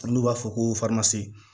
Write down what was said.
N'u b'a fɔ ko